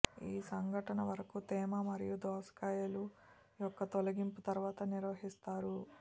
ఈ సంఘటన వరకు తేమ మరియు దోసకాయలు యొక్క తొలగింపు తర్వాత నిర్వహిస్తారు